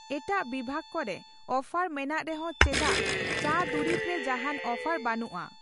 ᱮᱴᱟᱜ ᱵᱤᱵᱷᱟᱜᱽ ᱠᱚᱨᱮ ᱚᱯᱷᱟᱨ ᱢᱮᱱᱟᱜ ᱨᱮᱦᱚᱸ ᱪᱮᱫᱟᱜ ᱪᱟ ᱫᱩᱨᱤᱵᱽ ᱨᱮ ᱡᱟᱦᱟᱱ ᱚᱯᱷᱟᱨ ᱵᱟᱹᱱᱩᱜᱼᱟ ?